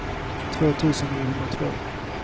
två tusen niohundratvå